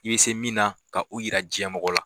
I bɛ se min na ka o jira diɲɛ mɔgɔ la